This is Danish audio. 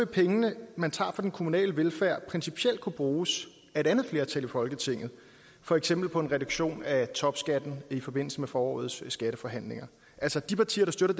penge man tager fra den kommunale velfærd principielt kunne bruges af et andet flertal i folketinget for eksempel på en reduktion af topskatten i forbindelse med forårets skatteforhandlinger altså at de partier der støtter